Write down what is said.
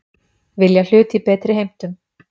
Vilja hlut í betri heimtum